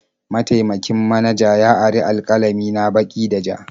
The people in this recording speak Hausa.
Mataimakin manaja ya ari alƙalami na baki da ja.